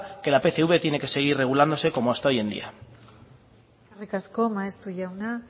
que la pcv tiene que seguir regulándose como hasta hoy en día eskerrik asko maeztu jauna